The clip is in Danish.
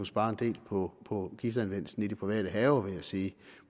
spare en del på på giftanvendelsen i private haver vil jeg sige